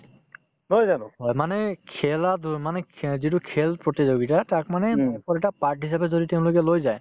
হয়, মানে খেলা-ধূল মানে খে যিটো খেল প্ৰতিযোগিতা তাত মানে যদি তেওঁলোকে লৈ যায়